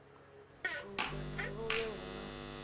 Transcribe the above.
luṅwe na luṅwe hu na